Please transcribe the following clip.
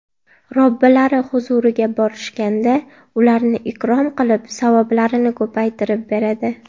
Robbilari huzuriga borishganda ularni ikrom qilib, savoblarini ko‘paytirib beradi.